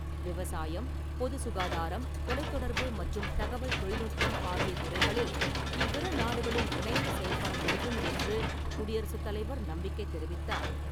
விவசாயம், பொது சுகாதாரம், தொலைத்தொடர்பு மற்றும் தகவல் தொழில்நுட்பம் ஆகிய துறைகளில் இவ்விரு நாடுகளும் இணைந்து செயல்பட முடியும் என்று குடியரசுத் தலைவர் நம்பிக்கை தெரிவித்தார் .